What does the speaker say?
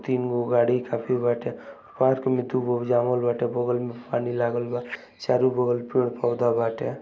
तीन गो गाड़ी काफी बाटे पार्क में दुगो बगल में पानी लागल बा चारो बगल पेड़-पौधा बाटे।